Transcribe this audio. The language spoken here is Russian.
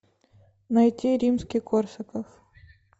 найти римский корсаков